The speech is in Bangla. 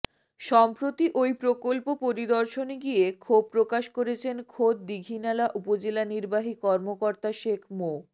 সম্প্রতি ওই প্রকল্প পরিদর্শনে গিয়ে ক্ষোভ প্রকাশ করেছেন খোদ দীঘিনালা উপজেলা নির্বাহী কর্মকর্তা শেখ মো